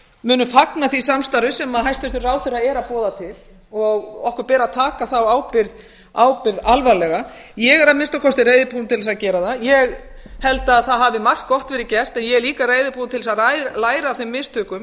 munum fagna því samstarfi sem hæstvirtur ráðherra er að boða til okkur ber að taka þá ábyrgð alvarlega ég er að minnsta kosti reiðubúin til þess að gera það ég held að á hafi margt gott gerð gert en ég er líka reiðubúin til þess að læra af þeim mistökum